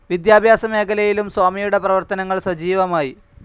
വിദ്യാഭ്യാസ മേഖലയിലും സ്വാമിയുടെ പ്രവർത്തനങ്ങൾ സജീവമായി